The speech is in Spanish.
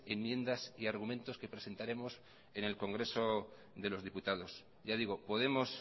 enmiendas y argumentos que presentaremos en el congreso de los diputados ya digo podemos